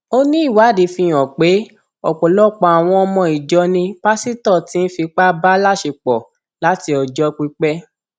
ó ní ìwádìí fíhàn pé ọpọlọpọ àwọn ọmọ ìjọ ni pásítọ tí ń fipá bá láṣepọ láti ọjọ pípẹ